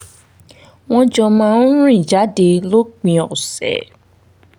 wọ́n jọ máa ń rìn jáde lópin ọ̀sẹ̀